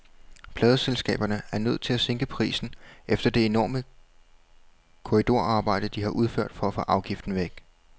Pladeselskaberne er nødt til at sænke prisen efter det enorme korridorarbejde, de har udført for at få afgiften væk.